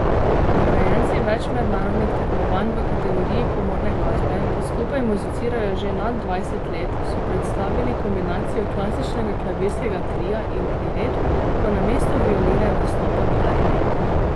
Nagrajenci več mednarodnih tekmovanj v kategoriji komorne glasbe, ki skupaj muzicirajo že nad dvajset let, so predstavili kombinacijo klasičnega klavirskega tria in priredb, ko namesto violine nastopa klarinet.